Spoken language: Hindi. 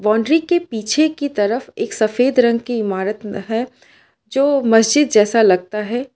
बॉउंड्री के पीछे की तरफ एक सफेद रंग की इमारत है जो मस्जिद जैसा लगता है।